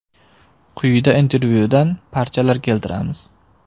Quyida intervyudan parchalar keltiramiz.